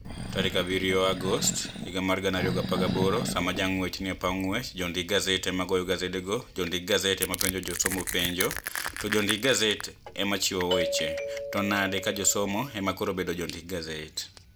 7 Agost 2018 Sama janig'wech nii e paw nig'wech, jonidik gaset ema goyo gasedego, jonidik gaset ema penijo josomo penijo, to jonidik gaset ema chiwo weche, to niade ka josomo ema koro bedo jonidik gaset?